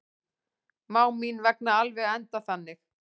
Má mín vegna alveg enda þannig.